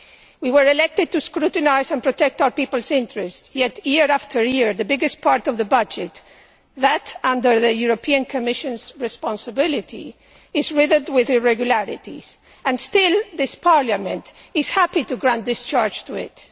We were elected to scrutinise and protect our people's interests, yet year after year the biggest part of the budget that under the European Commission's responsibility is riddled with irregularities, and still this Parliament is happy to grant discharge to it.